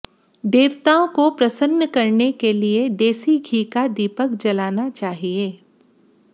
देवताओं को प्रसन्न करने के लिए देसी घी का दीपक जलाना चाहिए